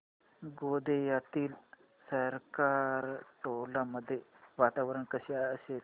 गोंदियातील सरकारटोला मध्ये वातावरण कसे असेल